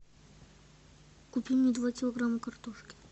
купи мне два килограмма картошки